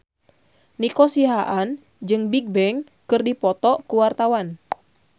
Nico Siahaan jeung Bigbang keur dipoto ku wartawan